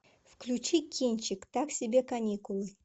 включи кинчик так себе каникулы